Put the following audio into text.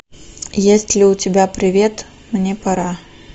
есть ли у тебя привет мне пора